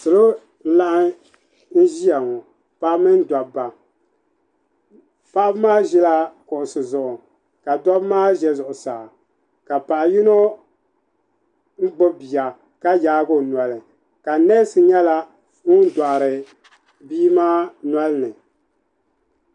salo n laɣam ʒiya ŋɔ paɣaba mini dabba paɣaba maa ʒila kuɣusi zuɣu ka dabba maa ʒɛ zuɣusaa ka paɣa yino gbubi bia ka yaagi o noli ka nees nyɛla ŋun doɣari bia maa nolini